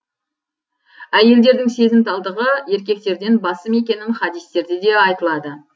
әйелдердің сезімталдығы еркектерден басым екенін хадистерде де айтылады